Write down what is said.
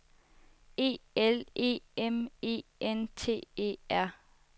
E L E M E N T E R